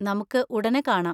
നമുക്ക് ഉടനെ കാണാം!